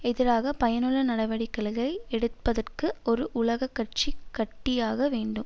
எதிராக பயனுள்ள நடவடிக்களுகை எடுப்பதற்கு ஒரு உலக கட்சி கட்டியாக வேண்டும்